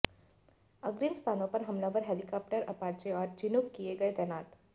अग्रिम स्थानों पर हमलावर हेलीकॉप्टर अपाचे और चिनूक किए गए तैनात